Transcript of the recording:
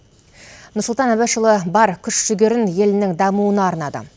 нұрсұлтан әбішұлы бар күш жігерін елінің дамуына арнады